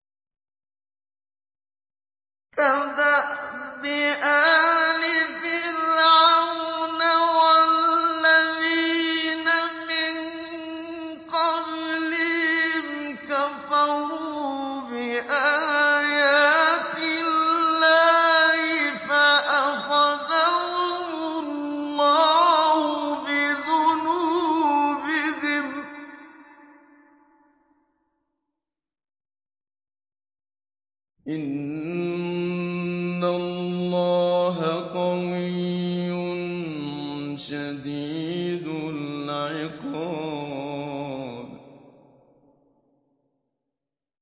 كَدَأْبِ آلِ فِرْعَوْنَ ۙ وَالَّذِينَ مِن قَبْلِهِمْ ۚ كَفَرُوا بِآيَاتِ اللَّهِ فَأَخَذَهُمُ اللَّهُ بِذُنُوبِهِمْ ۗ إِنَّ اللَّهَ قَوِيٌّ شَدِيدُ الْعِقَابِ